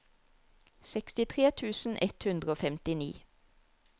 sekstitre tusen ett hundre og femtini